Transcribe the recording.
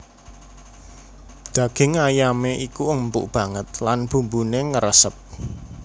Daging ayamé iku empuk banget lan bumbuné ngresep